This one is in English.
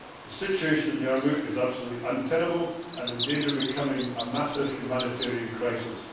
The situation in Yarmouk is absolutely untenable and in danger of becoming a massive humanitarian crisis.